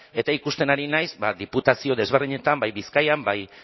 eta ikusten ari naiz diputazio desberdinetan bai bizkaian bai